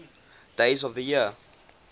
days of the year